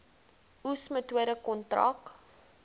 oes metode kontrak